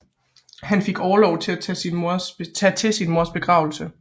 Han fik orlov for at tage til sin mors begravelse